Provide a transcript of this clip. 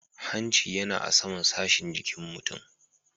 Hanci yana a saman sashin jikin mutum.